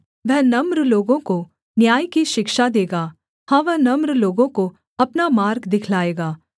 वह नम्र लोगों को न्याय की शिक्षा देगा हाँ वह नम्र लोगों को अपना मार्ग दिखलाएगा